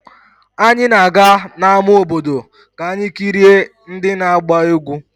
Anyị na-aga n'ama obodo ka anyị kirie ndị na-agba egwu.